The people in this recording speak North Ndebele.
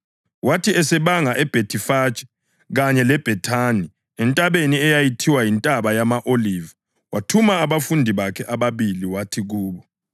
Wathi esebanga eBhethifage kanye leBhethani entabeni eyayithiwa yiNtaba yama-Oliva wathuma abafundi bakhe ababili wathi kubo: